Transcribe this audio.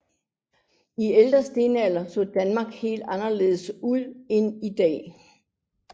I ældre stenalder så Danmark helt anderledes ud end i dag